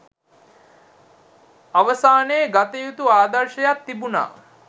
අවසානයේ ගතයුතු ආදර්ශයක් තිබුණා